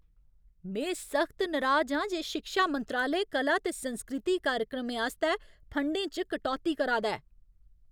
में सख्त नराज आं जे शिक्षा मंत्रालय कला ते संस्कृति कार्यक्रमें आस्तै फंडें च कटौती करा दा ऐ।